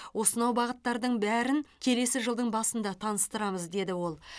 осынау бағыттардың бәрін келесі жылдың басында таныстырамыз деді ол